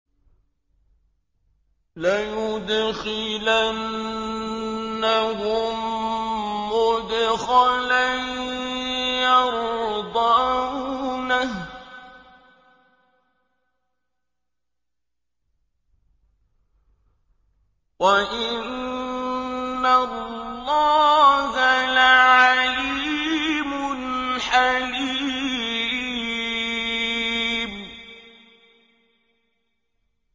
لَيُدْخِلَنَّهُم مُّدْخَلًا يَرْضَوْنَهُ ۗ وَإِنَّ اللَّهَ لَعَلِيمٌ حَلِيمٌ